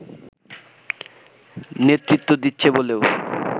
নেতৃত্ব দিচ্ছে বলেও